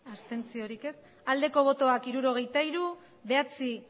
abstentzioa hirurogeita hiru bai bederatzi